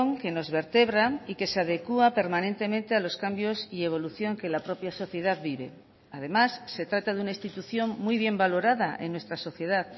que nos vertebra y que se adecúa permanentemente a los cambios y evolución que la propia sociedad vive además se trata de una institución muy bien valorada en nuestra sociedad